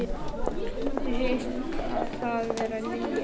Mér heyrist það vera Lilja.